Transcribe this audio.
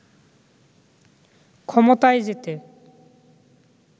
ক্ষমতায় যেতে